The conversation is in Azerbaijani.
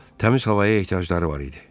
Təmiz havaya ehtiyacları var idi.